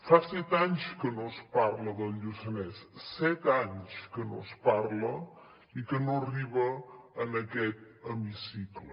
fa set anys que no es parla del lluçanès set anys que no se’n parla i que no arriba en aquest hemicicle